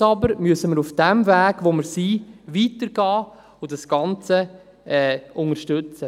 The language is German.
Jetzt aber müssen wir auf dem Weg, auf dem wir sind, weitergehen und das Ganze unterstützen.